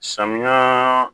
Samiya